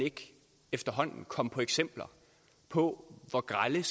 efterhånden komme på eksempler på hvor grelle